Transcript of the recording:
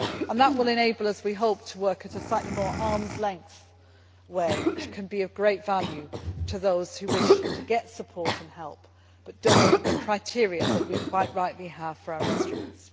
That will enable us, we hope, to work in a slightly more arms length way, which can be of great value to those who wish to get support and help but do not meet the criteria that we quite rightly have for our instruments.